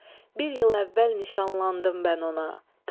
Bir il əvvəl nişanlandım mən ona.